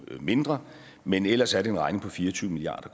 mindre men ellers er det en regning på fire og tyve milliard